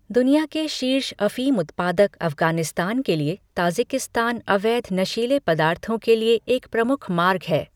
दुनिया के शीर्ष अफ़ीम उत्पादक अफगानिस्तान के लिए ताजिकिस्तान अवैध नशीले पदार्थों के लिए एक प्रमुख मार्ग है।